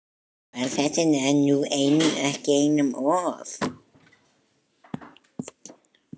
Var þetta nú ekki einum of?